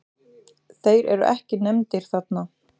Þeir eru ekki nefndir þarna.